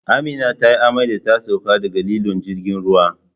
Amina tayi amai da ta sauko daga lilon jirgin ruwa